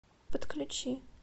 подключи